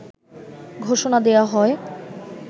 ঘোষণা দেয়া হয়